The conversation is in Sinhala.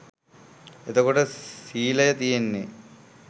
එතකොට සීලය තියෙන්නේ